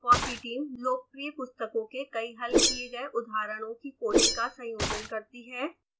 fossee team लोकप्रिय पुस्तकों के कई हल किए गए उदाहरणों की कोडिंग का संयोजन करती है